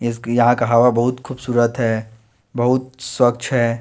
इसकी यहां का हवा बहुत खूबसूरत है बहुत स्वच्छ है।